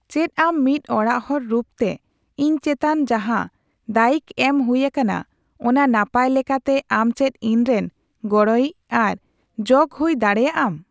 ᱪᱮᱫ ᱟᱢ ᱢᱤᱫ ᱚᱲᱟᱜᱦᱚᱲ ᱨᱩᱯᱛᱮ ᱤᱧ ᱪᱮᱛᱟᱱ ᱡᱟᱸᱦᱟ ᱫᱟᱭᱤᱠ ᱮᱢ ᱦᱩᱭ ᱟᱠᱟᱱᱟ ᱚᱱᱟ ᱱᱟᱯᱟᱭ ᱞᱮᱠᱟᱛᱮ ᱟᱢ ᱪᱮᱫ ᱤᱧᱨᱮᱱ ᱜᱚᱲᱚᱭᱤᱡ ᱟᱨ ᱡᱚᱜᱚ ᱦᱩᱭ ᱫᱟᱲᱮᱭᱟᱜᱼᱟᱢ ᱾